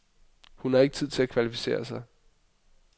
Hun har ikke tid til at kvalificere sig.